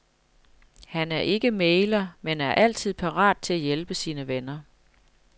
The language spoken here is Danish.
Han er ikke mægler, men er altid parat til at hjælpe sine venner.